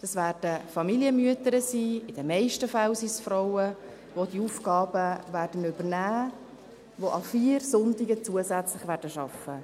Es werden Familienmütter sein – in den meisten Fällen sind es Frauen –, die diese Aufgaben übernehmen und an vier Sonntagen zusätzlich arbeiten werden.